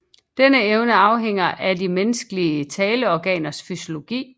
Denne evne afhænger af de menneskelige taleorganers fysiologi